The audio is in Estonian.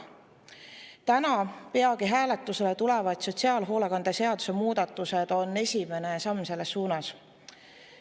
Täna peagi hääletusele tulevad sotsiaalhoolekande seaduse muudatused on esimene samm selles suunas.